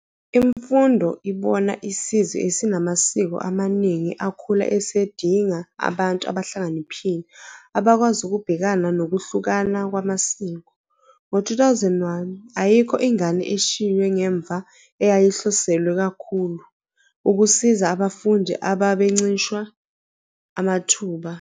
Imfundo ibona isizwe esinamasiko amaningi akhula esidinga abantu abahlakaniphile abakwazi ukubhekana nokuhlukana kwamasiko. Ngo-2001, Ayikho Ingane Eshiywe Ngemva eyayihloselwe kakhulu ukusiza abafundi ababencishwe amathuba.